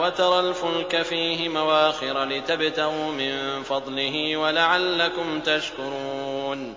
وَتَرَى الْفُلْكَ فِيهِ مَوَاخِرَ لِتَبْتَغُوا مِن فَضْلِهِ وَلَعَلَّكُمْ تَشْكُرُونَ